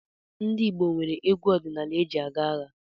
Ndị Igbo nwere egwu ọdinaala eji aga agha.